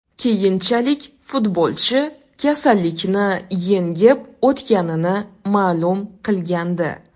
Keyinchalik futbolchi kasallikni yengib o‘tganini ma’lum qilgandi.